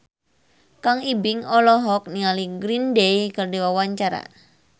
Kang Ibing olohok ningali Green Day keur diwawancara